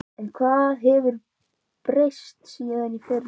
En hvað hefur breyst síðan í fyrra?